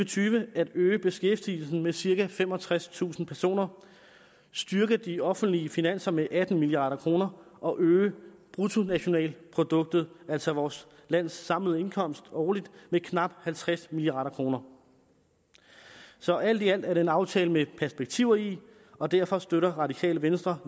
tyve at øge beskæftigelsen med cirka femogtredstusind personer styrke de offentlige finanser med atten milliard kroner og øge bruttonationalproduktet altså vores lands samlede indkomst årligt med knap halvtreds milliard kroner så alt i alt er det en aftale med perspektiver i og derfor støtter radikale venstre